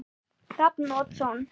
Hrafn Oddsson